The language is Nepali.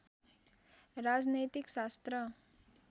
राजनैतिक शास्त्र